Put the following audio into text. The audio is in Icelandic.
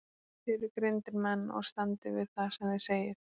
Þið eruð greindir menn og standið við það sem þið segið.